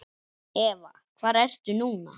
Eva: Hvar ertu núna?